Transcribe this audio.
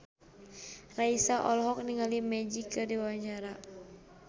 Raisa olohok ningali Magic keur diwawancara